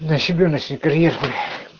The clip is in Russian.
на себе на сигареты